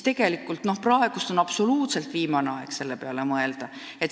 Tegelikult on praegu absoluutselt viimane aeg selle peale mõelda.